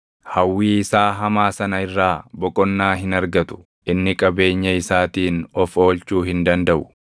“Hawwii isaa hamaa sana irraa boqonnaa hin argatu; inni qabeenya isaatiin of oolchuu hin dandaʼu.